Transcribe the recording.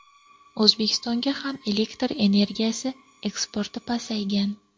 O‘zbekistonga ham elektr energiyasi eksporti pasaygan.